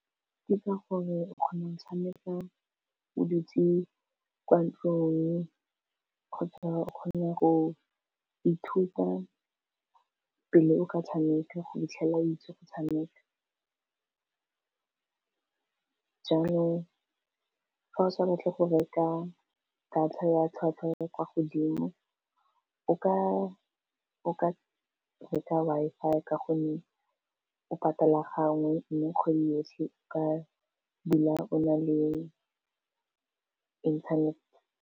Ke ka gore o kgone go tshameka bo dutse kwa ntlong kgotsa o kgone go ithuta pele o ka tshameka go fitlhelela a itse go tshameka jaanong fa o sa batle go reka data ya tlhwatlhwa ya kwa godimo o ka re ka Wi-Fi ka gonne o patala gangwe mme kgwedi yotlhe ka dula o na le internet.